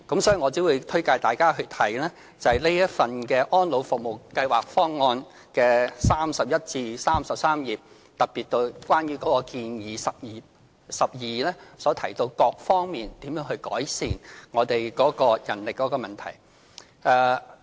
所以，我只會推介大家去看這份《安老服務計劃方案》的第31至33頁，特別是第12項建議，當中提到各方面如何改善我們的人力問題。